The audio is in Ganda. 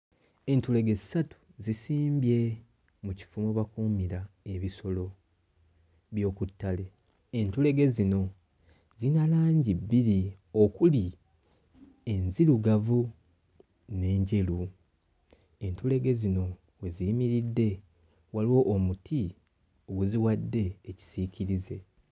Entulege ssatu zisimbye mu kifo we bakuumira ebisolo by'oku ttale. Ensolo zino ziri bbiri okuli enzirugavu n'enjeru. Entulege zino we ziyimiridde waliwo omuti guziwadde ekisiikirize.